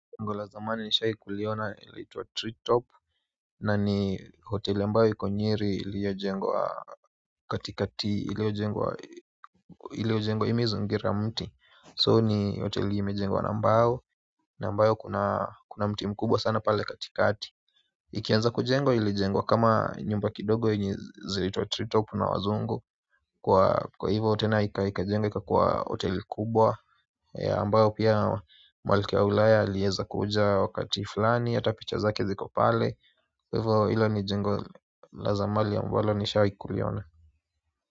Ngongo la zamani nishawai kuliona laitwa tree top na ni hoteli ambayo iko nyeri iliyojengwa katikati iliyojengwa imezingira mti so ni hoteli imejengwa na mbao na ambayo kuna mti mkubwa sana pale katikati. Ikianza kujengwa ili jengwa kama nyumba kidogo yenye zilitwa tree top na wazungu kwa hivyo tena ikajengwa ikakua hoteli kubwa ambao pia malikia wa Ulaya aliweza kuja wakati fulani hata picha zake ziko pale kwa hivo hilo ni jengo la zamani ambalo nishahi kuliona.